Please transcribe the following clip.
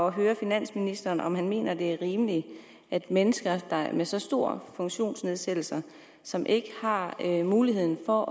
at høre finansministeren om han mener det er rimeligt at mennesker med så stor funktionsnedsættelse som ikke har mulighed for